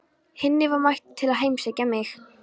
Hinni var mættur til að heimsækja mig.